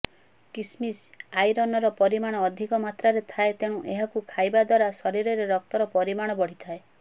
କିସମିସ୍ ଆଇରନର ପରିମାଣ ଅଧିକ ମାତ୍ରାରେ ଥାଏ ତେଣୁ ଏହାକୁ ଖାଇବା ଦ୍ୱାରା ଶରୀରରେ ରକ୍ତର ପରିମାଣ ବଢିଥାଏ